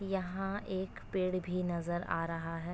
यहां एक पेड़ भी नजर आ रहा है।